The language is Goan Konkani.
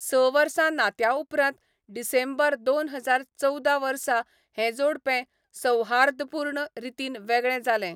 स वर्सां नात्या उपरांत डिसेंबर दोन हजार चवदा वर्सा हे जोडपें सौहार्दपूर्ण रितीन वेगळें जालें.